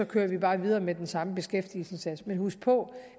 kører bare videre med den samme beskæftigelsesindsats men husk på